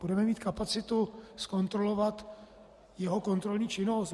Budeme mít kapacitu zkontrolovat jeho kontrolní činnost?